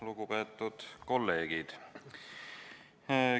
Lugupeetud kolleegid!